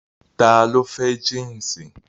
Ta ló fẹ́ jínsì